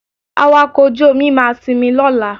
Awakọ̀ ojú-omi máa sinmi lọ́la